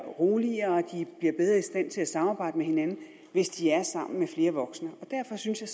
roligere de bliver bedre i stand til at samarbejde med hinanden hvis de er sammen med flere voksne derfor synes jeg